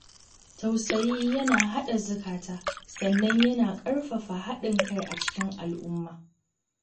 Tausayi yana haɗa zukata, sannan yana ƙarfafa haɗin kai a cikin al'umma